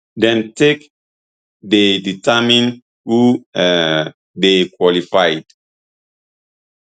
dem take dey determine who um dey qualified